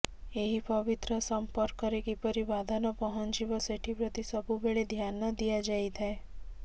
ଏହି ପବିତ୍ର ସମ୍ପର୍କରେ କିପରି ବାଧା ନପହଁଞ୍ଚୀବ ସେଠୀ ପ୍ରତି ସବୁବେଳେ ଧ୍ୟାନ ଦିଆଯାଇଥାଏ